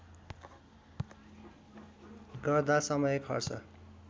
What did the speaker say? गर्दा समय खर्च